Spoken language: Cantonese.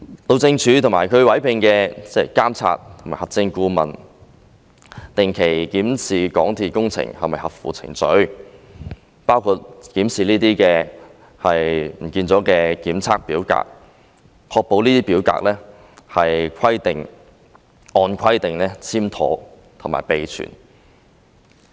路政署及其委聘的監察及核證顧問定期檢視港鐵工程是否合乎程序，包括檢視這些消失了的檢測表格，確保這些表格是按規定簽妥和備存。